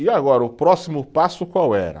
E agora o próximo passo qual era?